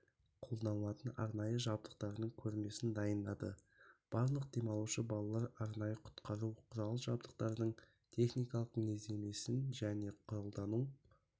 қолданылатын арнайы жабдықтардың көрмесін дайындады барлық демалушы балалар арнайы құтқару құрал-жабдықтардың техникалық мінездемесімен және қолдану